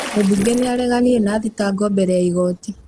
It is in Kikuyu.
Mũmbunge nĩ areganire na thitango mbere ya igoti